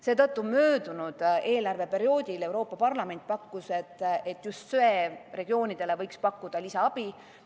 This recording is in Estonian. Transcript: Seetõttu möödunud eelarveperioodil Euroopa Parlament pakkus, et just söeregioonidele võiks pakkuda lisaabi.